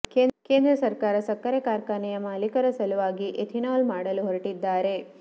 ಕೇಂದ್ರ ಸರಕಾರ ಸಕ್ಕರೆ ಕಾರ್ಖಾನೆಯ ಮಾಲಿಕರ ಸಲುವಾಗಿ ಎಥಿನಾಲ್ ಮಾಡಲು ಹೋರಟಿದ್ದಾರೆ